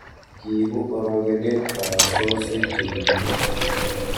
kiibu orokenet kabarastaosiek che kiibu